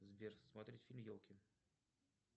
сбер смотреть фильм елки